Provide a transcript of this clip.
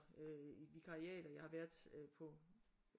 Øh i et vikariat og jeg har været på